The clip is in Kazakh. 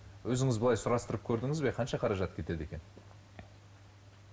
өзіңіз былай сұрастырып көрдіңіз бе қанша қаражат кетеді екен